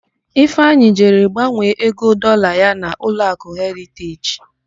Ifeanyị jere gbanwee ego Dọlaa ya n'ụlọakụ Heriteji.